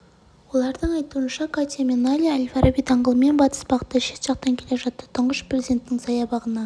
олардың айтуынша катя мен найля әл-фараби даңғылымен батыс бағытта шет жақтан келе жатты тұңғыш президенттің саябағына